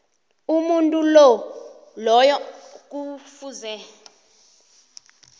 umuntu loyo kufuze